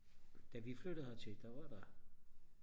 da vi flyttede hertil der var der